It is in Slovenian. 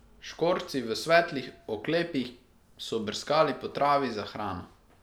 Škorci v svetlih oklepih so brskali po travi za hrano.